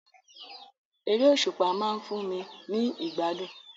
Eré òsùpá ma n fun mi ni ìgbádùn